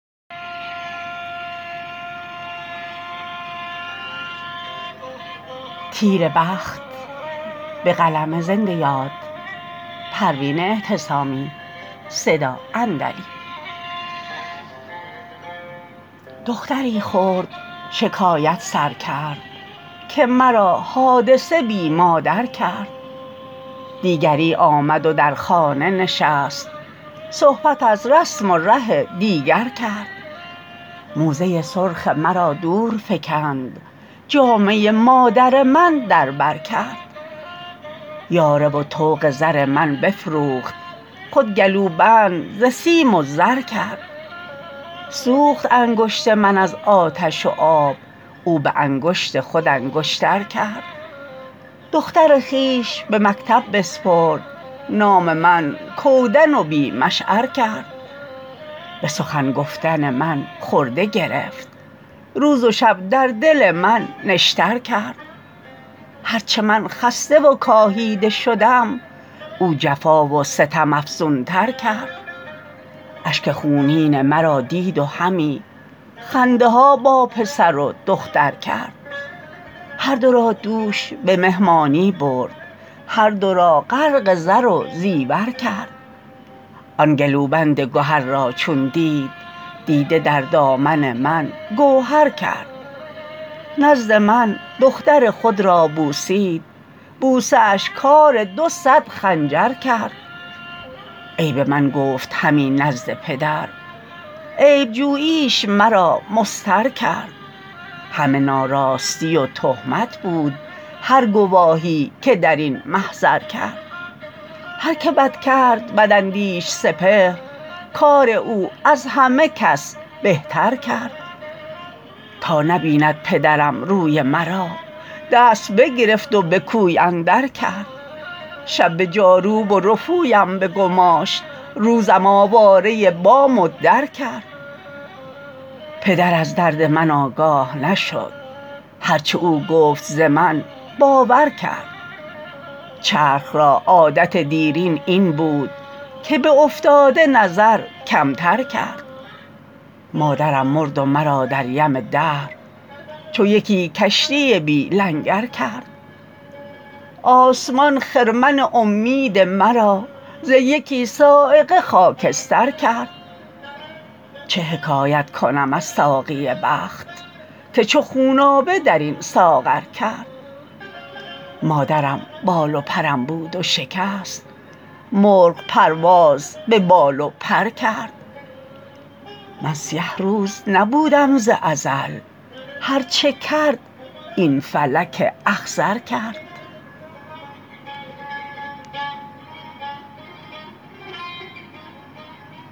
دختری خرد شکایت سر کرد که مرا حادثه بی مادر کرد دیگری آمد و در خانه نشست صحبت از رسم و ره دیگر کرد موزه سرخ مرا دور فکند جامه مادر من در بر کرد یاره و طوق زر من بفروخت خود گلوبند ز سیم و زر کرد سوخت انگشت من از آتش و آب او بانگشت خود انگشتر کرد دختر خویش به مکتب بسپرد نام من کودن و بی مشعر کرد بسخن گفتن من خرده گرفت روز و شب در دل من نشتر کرد هر چه من خسته و کاهیده شدم او جفا و ستم افزونتر کرد اشک خونین مرا دید و همی خنده ها با پسر و دختر کرد هر دو را دوش بمهمانی برد هر دو را غرق زر و زیور کرد آن گلوبند گهر را چون دید دیده در دامن من گوهر کرد نزد من دختر خود را بوسید بوسه اش کار دو صد خنجر کرد عیب من گفت همی نزد پدر عیب جوییش مرا مضطر کرد همه ناراستی و تهمت بود هر گواهی که در این محضر کرد هر که بد کرد بداندیش سپهر کار او از همه کس بهتر کرد تا نبیند پدرم روی مرا دست بگرفت و بکوی اندر کرد شب بجاروب و رفویم بگماشت روزم آواره بام و در کرد پدر از درد من آگاه نشد هر چه او گفت ز من باور کرد چرخ را عادت دیرین این بود که به افتاده نظر کمتر کرد مادرم مرد و مرا در یم دهر چو یکی کشتی بی لنگر کرد آسمان خرمن امید مرا ز یکی صاعقه خاکستر کرد چه حکایت کنم از ساقی بخت که چو خونابه درین ساغر کرد مادرم بال و پرم بود و شکست مرغ پرواز ببال و پر کرد من سیه روز نبودم ز ازل هر چه کرد این فلک اخضر کرد